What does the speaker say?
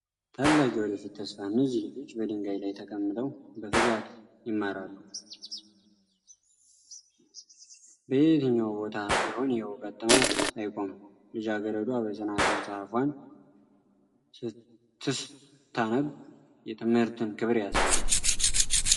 "ታላቅ የወደፊት ተስፋ! እነዚህ ልጆች በድንጋይ ላይ ተቀምጠው በትጋት ይማራሉ! በየትኛውም ቦታ ቢሆን የእውቀት ጥማት አይቆምም! ልጃገረዷ በጽናት መጽሐፏን ስትስታነብ የትምህርትን ክብር ያሳያል!"